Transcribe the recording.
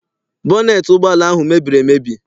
Bọneet ụgbọala ahụ mebiri emebi.